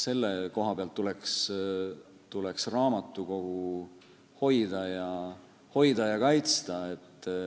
Selle koha pealt tuleks raamatukogu hoida ja kaitsta.